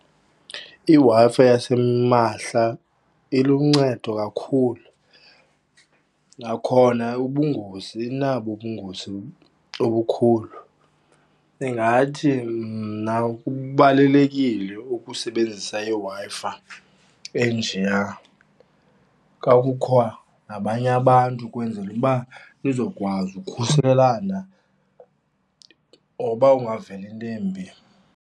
IWi-Fi yasimahla iluncedo kakhulu, nakhona ubungozi inabo ubungozi obukhulu. Ndingathi mna kubalulekile ukusebenzisa iWi-Fi enjeya, xa kukho nabanye abantu ukwenzela uba nizokwazi ukukhuselana oba ungaveli into embi.